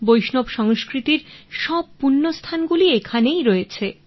বৈষ্ণব সংস্কৃতির সব পূণ্য স্থানগুলি এখানে রয়েছে